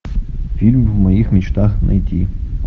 фильм в моих мечтах найти